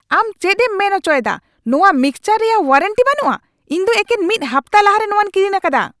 ᱟᱢ ᱪᱮᱫᱮᱢ ᱢᱮᱱ ᱚᱪᱚᱭᱮᱫᱟ ᱱᱚᱣᱟ ᱢᱤᱠᱥᱪᱟᱨ ᱨᱮᱭᱟᱜ ᱳᱣᱟᱨᱮᱱᱴᱤ ᱵᱟᱹᱱᱩᱜᱼᱟ ? ᱤᱧ ᱫᱚ ᱮᱠᱮᱱ ᱢᱤᱫ ᱦᱟᱯᱛᱟ ᱞᱟᱦᱟᱨᱮ ᱱᱚᱣᱟᱧ ᱠᱤᱨᱤᱧ ᱟᱠᱟᱫᱟ !